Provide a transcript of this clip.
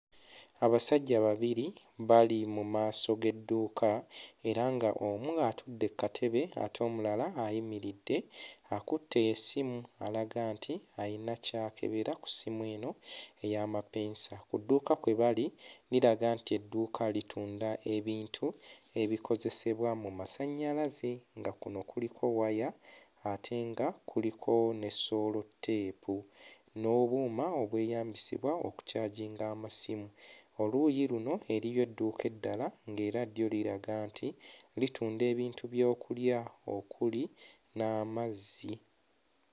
Abasajja babiri bali mu maaso g'edduuka era ng'omu atudde kkatebe ate omulala ayimiridde akutte essimu alaga nti ayina ky'akebera ku ssimu eno ey'amapeesa. Ku dduuka kwe bali liraga nti edduuka litunda ebintu ebikozesebwa mu masannyalaze nga kuno kuliko waya ate nga kuliko ne soolotteepu n'obuuma obweyambisibwa okukyaginga amasimu, oluuyi luno eriyo edduuka eddala ng'era ddyo liraga nti litunda ebintu by'okulya okuli n'amazzi.